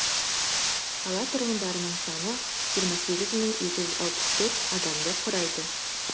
қала тұрғындарының саны жиырма сегіз мың екі жүз алпыс төрт адамды құрайды